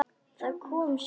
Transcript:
Það kom af sjálfu sér.